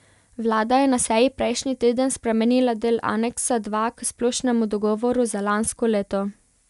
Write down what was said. Vlada je na seji prejšnji teden spremenila del aneksa dva k splošnemu dogovoru za lansko leto.